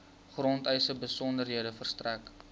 grondeise besonderhede verstrek